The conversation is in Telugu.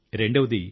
రెండవది